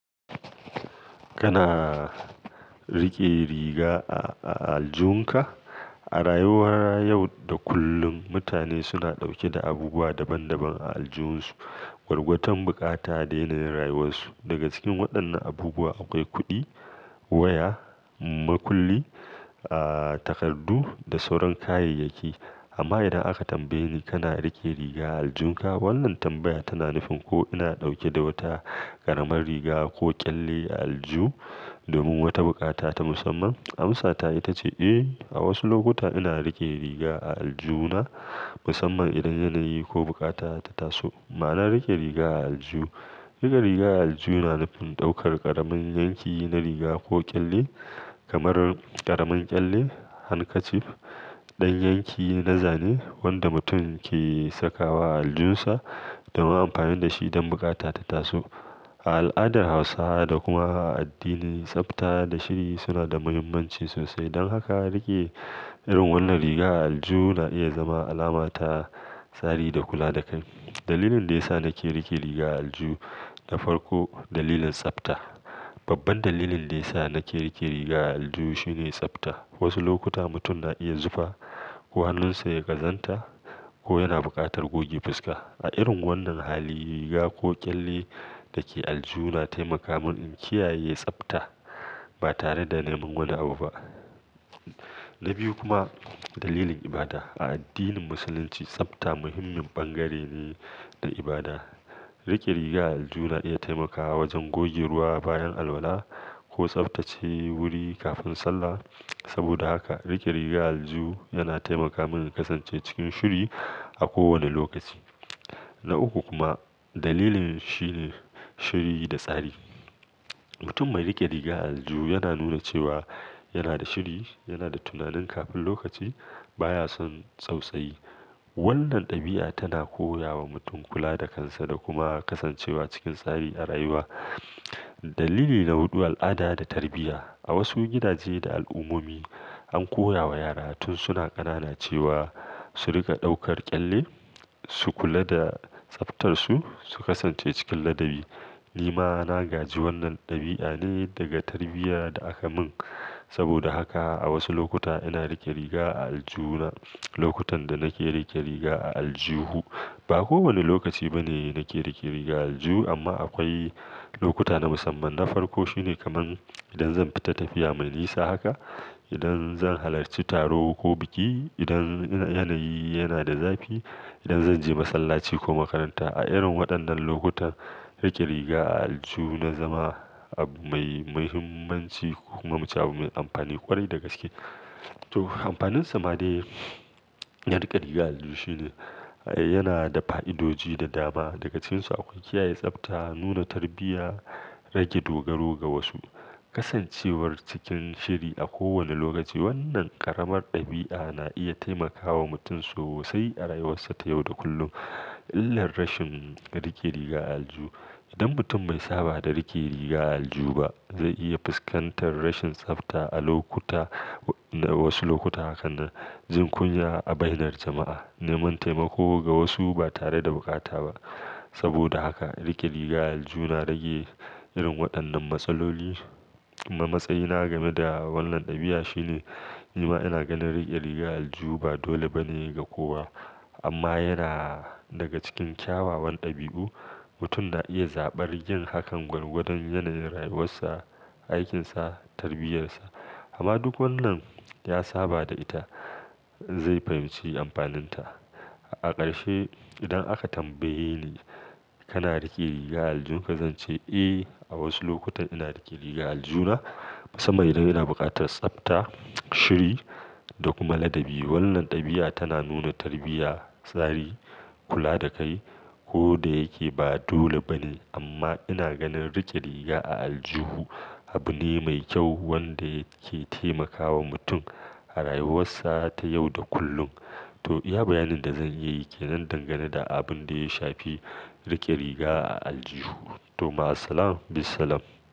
Kana rike riga a, a aljunka? A rayuwar yau da kullum, mutane suna ɗauke da abubuwa daban daban a aljihunsu. Gwargwadon bukata ya daina rayuwarsu. Daga cikin waɗannan abubuwa akwai kuɗi, waya, makulli, aa takardu da sauran kayayyaki. Amma idan aka tambaye ni kana rike riga a aljunka? Wannan tambaya tana nufin ko ina ɗauke da wata ƙaramar riga ko ƙyalle a aljihu domin wata bukata ta musamman. Amsa ta ita ce eh, a wasu lokuta ina rike riga a aljihuna musamman idan yanayi ko bukata ta taso. Ma'anan rike riga a alju, rike riga a alju yana nufin ɗaukar ƙaramin yanki na riga ko ƙyalle kamar ƙaramin ƙyalle, handkerchief, ɗan yanki na zane wanda mutum ke saka wa aljunsa domin amfani da shi don bukata ta taso. A al'adar Hausawa da kuma a addini, tsafta da shiri suna da muhimmanci sosai. Don haka rike irin wannan riga a aljihu na iya zama alama ta tsari da kula da kai. Dalilin da ya sa nake rike riga a aljihu, na farko dalilin tsafta. Babban dalilin da ya sa nake rike riga a aljihu shine tsafta. Wasu lokuta mutum na iya zufa ko hannunsa ya ƙazanta ko yana buƙatar goge fuska. A irin wannan hali riga ko ƙyalle dake a aljihu na taimaka mun in kiyaye tsafta ba tare da neman wani abu ba. Na biyu kuma dalilin ibada. A addinin Musulunci tsafta muhimmin bangare ne na ibada. Rike riga a aljihu na iya taimakawa wajen gogeruwa bayan alwala ko tsaftace wuri kafin sallah. Saboda haka rike riga a alju yana taimaka mun in kasance cikin shiri a kowane lokaci. Na uku kuma dalilin shine shiri da tsari. Mutum mai rike riga a aljihu yana nuna cewa yana da shiri, yana da tunanin kafin lokaci, baya son tsautsayi. Wannan ɗabi'a tana koya wa mutum kula da kansa da kuma kasancewa cikin tsari a rayuwa. Dalili na huɗu al'ada da tarbiyya. A wasu gidaje da al'ummomi an koya wa yara tun suna ƙanana cewa su rika ɗaukar ƙyalle, su kula da tsaftarsu, su kasance cikin ladabi. Ni ma na gaji wannan ɗabi'a ne daga tarbiyya da aka mun. Saboda haka a wasu lokuta ina rike riga a aljihuna. Lokutan da nake rike riga a aljihu, ba kowane lokaci bane nake rike riga a aljihu amma akwai lokuta na musamman. Na farko shine kamar idan zan fita tafiya mai nisa haka, idan zan halarci taro ko biki, idan yanayi yana da zafi, idan zan je masallaci ko makaranta. A irin waɗannan lokutan rike riga a aljihu na zama abu mai muhimmanci koma muce abu mai amfani ƙwarai da gaske. To amfaninsa ma dai na rike riga a aljihu shine yana da fa'idoji da dama. Daga cikin su akwai kiyaye tsafta, nuna tarbiyya, rage dogaro ga wasu, kasancewar cikin shiri a kowane lokaci. Wannan ƙaramar ɗabi'a na iya taimakawa mutum sosai a rayuwarsa ta yau da kullum. Illar rashin rike riga a aljihu. Idan mutum mai saba da rike riga a aljihu ba zai iya fuskantar rashin tsafta a lokuta, wasu lokuta hakan na jin kunya a bainar jama'a, neman taimako ga wasu ba tare da bukata ba. Saboda haka rike riga a aljihu na rage irin waɗannan matsaloli. Amma matsayina game da wannan ɗabi'a shine ni ma ina ganin rike riga a aljihu ba dole bane ga kowa amma yana daga cikin kyawawan ɗabi'u. Mutum na iya zaɓar yin hakan gwargwadon yanayin rayuwarsa, aikinsa, tarbiyyarsa amma duk wannan ya saba da ita zai fahimci amfaninta. A ƙarshe idan aka tambaye ni kana rike riga a aljunka? Zance, "Eh, a wasu lokutan ina rike riga a aljihuna musamman idan ina buƙatar tsafta, shiri da kuma ladabi." Wannan ɗabi'a tana nuna tarbiyya, tsari, kula da kai. Ko da yake ba dole bane amma ina ganin rike riga a aljihu abu ne mai kyau wanda yake taimakawa mutum a rayuwarsa ta yau da kullum. To iya bayanin da zan iya yake nan dangane da abun da ya shafi rike riga a aljihu. To ma salaam be salaam.